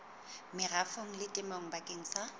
merafong le temong bakeng sa